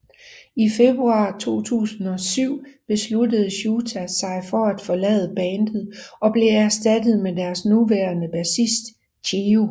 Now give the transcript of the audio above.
I februar 2007 besluttede Shouta sig for at forlade bandet og blev erstattet med deres nuværende bassist Chiyu